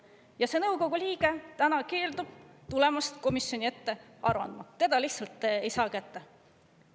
Ja see nõukogu liige keeldub tulemast komisjoni ette aru andma, teda lihtsalt ei saa kätte.